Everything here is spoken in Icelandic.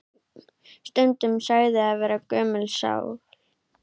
Stundum sagður vera gömul sál.